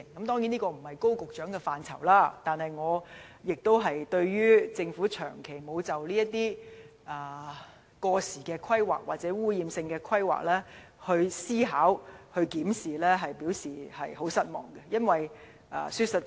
當然，這並非高局長負責的政策範疇，但對於政府長期沒有就這些過時或污染性的規劃作出思考和檢視，我表示十分失望。